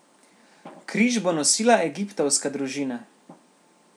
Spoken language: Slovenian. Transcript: Križ bo nosila egiptovska družina.